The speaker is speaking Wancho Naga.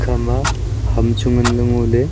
ama ham chu nganley ngoley.